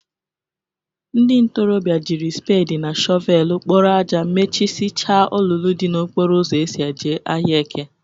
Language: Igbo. Ndị ntorọbịa jiri spedị na shọvelụ kporo aja mechịsịicha olulu dị n'okporo ụzọ eso e ji ahịa eke.